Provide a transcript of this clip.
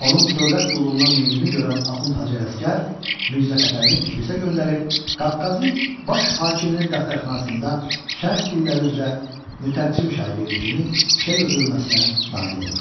Onun dövlət qulluğuna meylini görən Axund Hacı Ələsgər Mirzəfətəlini Tiflisə göndərib, Qafqazın baş hakiminin dəftərxanasında şərq dilləri üzrə mütərcim şagirdi kimi işə götürülməsinə nail olur.